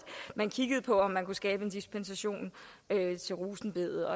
man vil kigge på om man kunne skabe en dispensation til rosenbedet